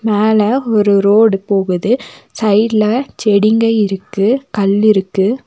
மேல ஒரு ரோடு போகுது சைட்ல செடிங்க இருக்கு கல்லிருகு.